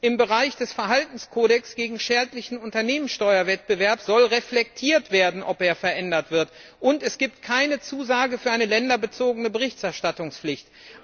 Im Bereich des Verhaltenskodex gegen schädlichen Unternehmenssteuerwettbewerb soll reflektiert werden, ob er verändert wird. Und es gibt keine Zusage für eine länderbezogene Berichterstattungspflicht.